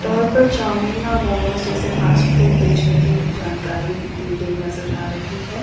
पर चाऊमीन और मोमोज जैसे फास्ट फूड बेचने की जानकारी दी गई नजर आ रही है।